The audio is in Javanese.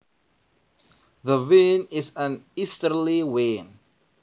The wind is an easterly wind